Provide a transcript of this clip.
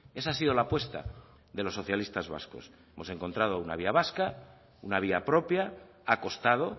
esa ha sido la apuesta de los socialistas vascos hemos encontrado una vía vasca una vía propia ha costado